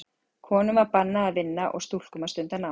Konum var bannað að vinna og stúlkum að stunda nám.